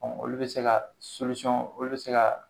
Ɔ olu bɛ se ka olu bɛ se ka